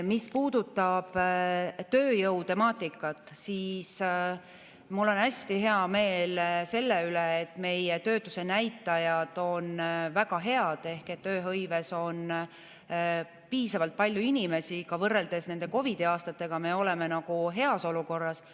Mis puudutab tööjõu temaatikat, siis mul on hästi hea meel selle üle, et meie töötusenäitajad on väga head ehk tööhõives on piisavalt palju inimesi, ka võrreldes COVID-i aastatega me oleme heas olukorras.